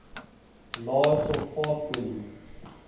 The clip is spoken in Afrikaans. lae sulfaat olie